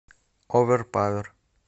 оверпавер